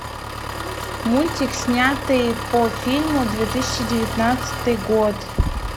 мультик снятый по фильму две тысячи девятнадцатый год